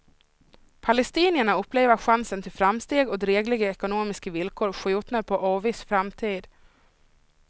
Palestinierna upplever chansen till framsteg och drägliga ekonomiska villkor skjutna på oviss framtid.